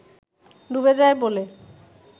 ডুবে যায় বলে